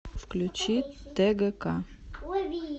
включи тгк